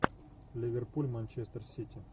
ливерпуль манчестер сити